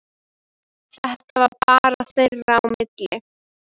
Þetta var bara þeirra á milli.